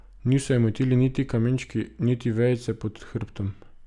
Niso je motili niti kamenčki niti vejice pod hrbtom.